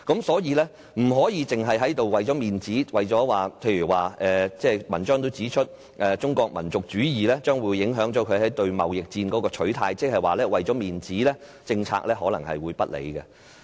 所以，我們不能只是為了面子；正如文章也指出，中國民族主義將會影響內地對貿易戰的取態，即是說，為了面子，政策可能不理性。